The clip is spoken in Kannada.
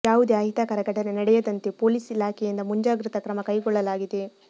ಯಾವುದೇ ಅಹಿತಕರ ಘಟನೆ ನಡೆಯದಂತೆ ಪೋಲಿಸ್ ಇಲಾಖೆಯಿಂದ ಮುಂಜಾಗ್ರತಾ ಕ್ರಮ ಕೈಗೊಳ್ಳಲಾಗಿದೆ